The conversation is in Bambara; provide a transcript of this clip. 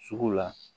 Sugu la